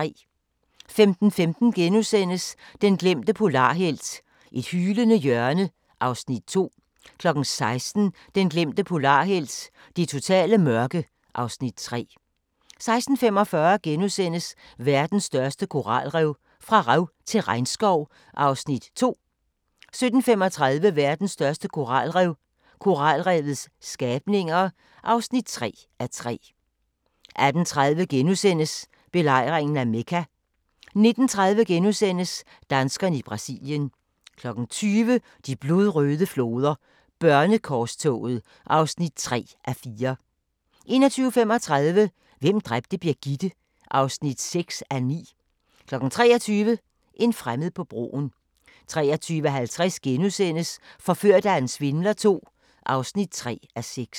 15:15: Den glemte polarhelt: Et hylende hjørne (Afs. 2)* 16:00: Den glemte polarhelt: Det totale mørke (Afs. 3) 16:45: Verdens største koralrev – fra rev til regnskov (2:3)* 17:35: Verdens største koralrev – koralrevets skabninger (3:3) 18:30: Belejringen af Mekka * 19:30: Danskerne i Brasilien * 20:00: De blodrøde floder: Børnekorstoget (3:4) 21:35: Hvem dræbte Birgitte? (6:9) 23:00: En fremmed på broen 23:50: Forført af en svindler II (3:6)*